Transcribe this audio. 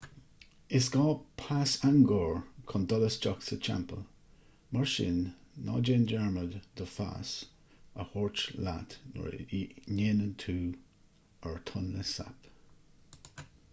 is gá pas angkor chun dul isteach sa teampall mar sin ná dearmad do phas a thabhairt leat nuair a dhéanann tú ar tonle sap